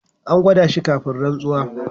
An gwada shi kafin rantsuwa.